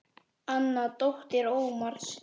Anna dóttir Ómars.